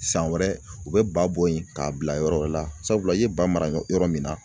San wɛrɛ u bɛ ba bɔ yen k'a bila yɔrɔ wɛrɛ la, sabula i ye ba mara yɔrɔ min na